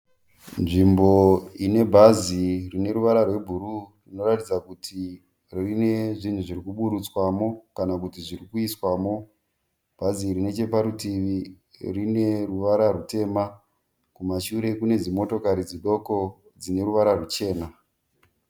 Nzvimbo inebhazi rineruvara rwebhuruwu rinoratidza kuti rine zvinhu zvirikuburutswamo kana kuiswamo. Bhari iri necheparutivi rineruva rutema, kumashure kune dzimotokari dzidoko dzineruvara ruchena.